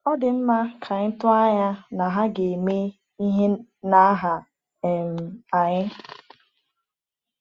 Ọ dị mma ka anyị tụọ anya na ha ga-eme ihe n’aha um anyị?’